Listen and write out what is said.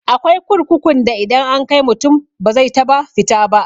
Akwai kurkukun da idan an kai mutum ba zai taba fita ba.